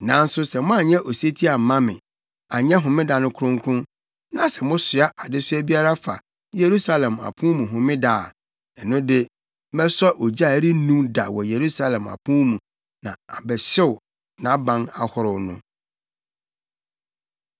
Nanso sɛ moanyɛ osetie amma me, anyɛ Homeda no kronkron, na sɛ mosoa adesoa biara fa Yerusalem apon mu Homeda a, ɛno de mɛsɔ ogya a ɛrennum da wɔ Yerusalem apon mu na abɛhyew nʼaban ahorow no.’ ”